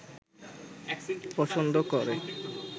পছন্দ করে